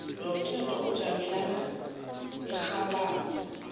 lomtato wamajamo arhabako